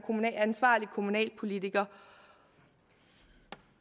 ansvarlig kommunalpolitiker